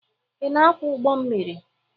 Ị na-akwọ ụgbọ mmiri?